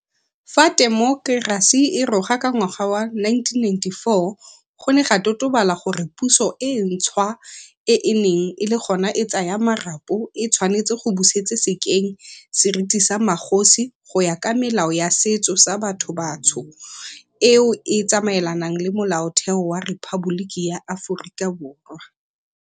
Fa temokerasi e roga ka ngwaga wa 1994, go ne ga totobala gore puso e ntšhwa e e neng e le gona e tsaya marapo e tshwanetse go busetse sekeng seriti sa magosi go ya ka melao ya setso sa batho batsho eo e tsamaelanang le Molaotheo wa Rephaboliki ya Aforika Borwa.